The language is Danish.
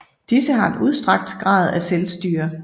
Disse har en udstrakt grad af selvstyre